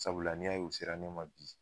Sabula n'i y'a o sera ne ma bi